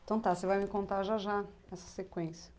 Então tá, você vai me contar já já essa sequência.